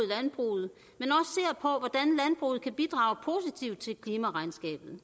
landbruget kan bidrage positivt til klimaregnskabet